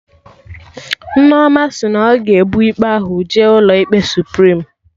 Nneoma sị na ọ ga-ebu ikpe ahụ jee ụlọ ikpe Suprim